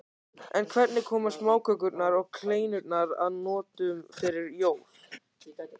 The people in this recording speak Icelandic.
En hvernig koma smákökurnar og kleinurnar að notum fyrir jól?